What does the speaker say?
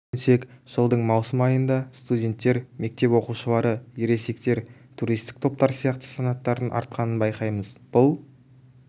сүйенсек жылдың маусым айында студенттер мектеп оқушылары ересектер туристік топтар сияқты санаттардың артқанын байқаймыз бұл